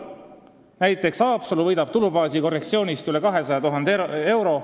Haapsalu võidab kohalike omavalitsuste tulubaasi korrektsioonist üle 200 000 euro.